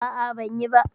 A'a, ban biya ba.